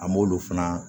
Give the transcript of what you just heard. An m'olu fana